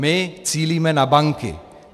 My cílíme na banky.